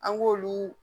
An b'olu